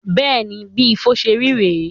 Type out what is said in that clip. Beeni, bí Ifo ṣé rí re e